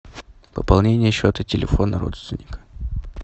пополнение счета телефона родственника